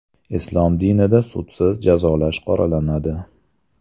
Islom dinida sudsiz jazolash qoralanadi.